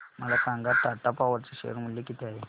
मला सांगा टाटा पॉवर चे शेअर मूल्य किती आहे